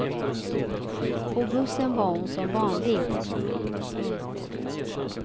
På bussen var hon som vanligt. punkt